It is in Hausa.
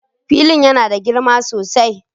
Filin yana da girma sosai.